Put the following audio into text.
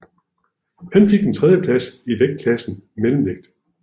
Han fik en tredjeplads i vægtklassen mellemvægt